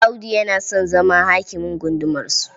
Audu yana son zama hakimin gundumarsu..